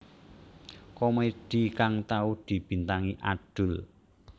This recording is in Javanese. Komedi kang tau dibintangi Adul